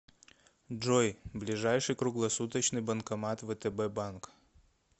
джой ближайший круглосуточный банкомат втб банк